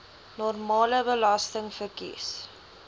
normale belasting verkies